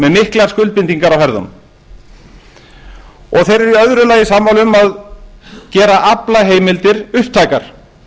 með miklar skuldbindingar á herðunum og þeir eru í öðru lagi sammála um að gera aflaheimildir upptækar